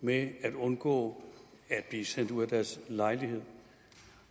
med at undgå at blive sat ud af deres lejlighed